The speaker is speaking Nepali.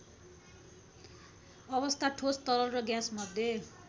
अवस्था ठोस तरल र ग्याँसमध्ये